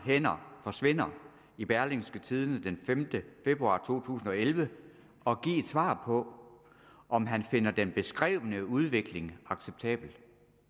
hænder forsvinder i berlingske tidende den femte februar to tusind og elleve og give et svar på om han finder den beskrevne udvikling acceptabel